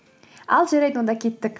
ал жарайды онда кеттік